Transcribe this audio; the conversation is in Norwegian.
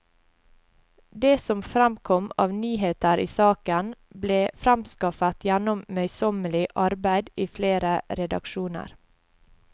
Det som fremkom av nyheter i saken, ble fremskaffet gjennom møysommelig arbeid i flere redaksjoner.